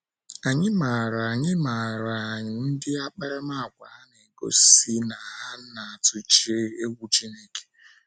Ànyị maara Ànyị maara ndị akparamàgwà ha na - egosi na ha na - atụ egwu Chineke.